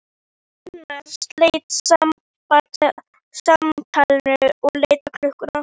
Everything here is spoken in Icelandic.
Bjarnþrúður, hvað geturðu sagt mér um veðrið?